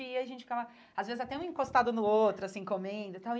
E a gente ficava, às vezes, até um encostado no outro, assim, comendo e tal.